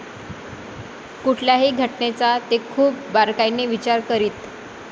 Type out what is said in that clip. कुठल्याही घटनेचा ते खूप बारकाईने विचार करीत.